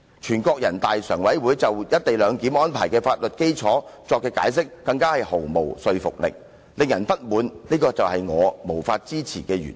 至於人大常委會就"一地兩檢"安排的法律基礎所作的解釋，更是毫無說服力，令人非常不滿，這是我無法支持的原因。